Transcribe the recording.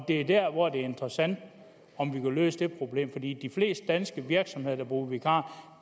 det er der hvor det er interessant om vi vil løse det problem fordi i de fleste danske virksomheder der bruger vikarer